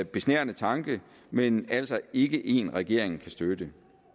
besnærende tanke men er altså ikke en regeringen kan støtte